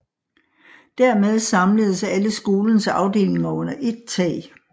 Dermed samledes alle skolens afdelinger under ét tag